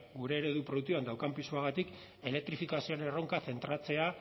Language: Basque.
gure eredu produktiboan daukan pisuagatik elektrifikazioen erronka zentratzea